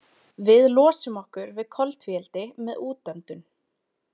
Við losum okkur við koltvíildi með útöndun.